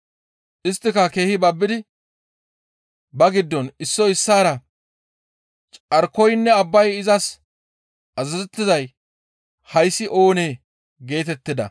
Isttika keehi babbidi ba giddon issoy issaara, «Carkoynne abbay izas azazettizay hayssi oonee?» geetettida.